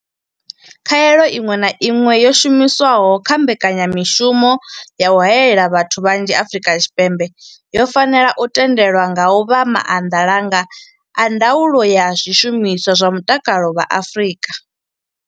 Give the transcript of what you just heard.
Khaelo iṅwe na iṅwe yo shumiswaho kha mbeka nyamushumo ya u haela vhathu vhanzhi Afrika Tshipembe yo fanela u tendelwa nga vha maanḓalanga a ndaulo ya zwishumiswa zwa mutakalo vha Afrika.